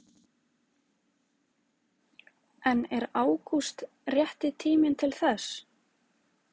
En er ágúst rétti tíminn til þess?